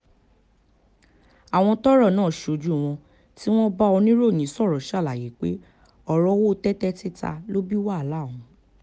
àwọn tọ́rọ̀ náà ṣojú wọn tí wọ́n bá oníròyìn sọ̀rọ̀ ṣàlàyé pé ọ̀rọ̀ owó tẹ́tẹ́ títa ló bí wàhálà ọ̀hún